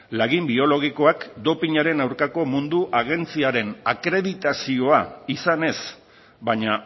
lagin biologikoak dopinaren aurkako mundu agentziaren akreditazioa izanez baina